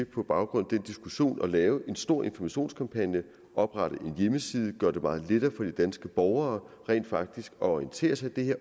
på baggrund af den diskussion at lave en stor informationskampagne oprette en hjemmeside og gøre det meget lettere for de danske borgere rent faktisk at orientere sig i